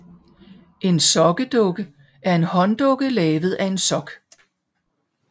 En sokkedukke er en hånddukke lavet af en sok